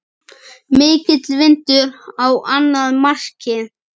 Mikill vindur á annað markið.